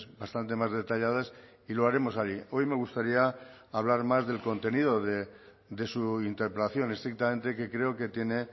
bastante más detalladas y lo haremos allí hoy me gustaría hablar más del contenido de su interpelación estrictamente que creo que tiene